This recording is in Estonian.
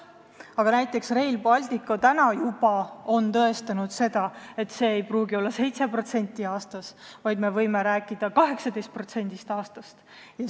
Aga näiteks Rail Baltic on juba tõestanud, et see ei pruugi olla 7% aastas, vaid me võime rääkida 18%-st aastas.